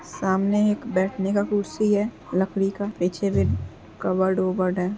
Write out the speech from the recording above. सामने एक बैठने का कुर्सी है लकड़ी का। पीछे भी कबर्ड ओबर्ड है।